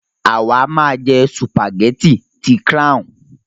A má jẹ́ sùpàgétì ti "Crown"